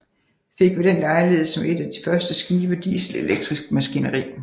Fik ved den lejlighed som et af de første skibe dieselelektrisk maskineri